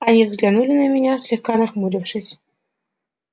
они взглянули на меня слегка нахмурившись